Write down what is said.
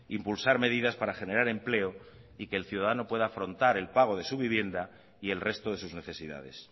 impulsar medidas para generar empleo y que el ciudadano pueda afrontar el pago de su vivienda y el resto de sus necesidades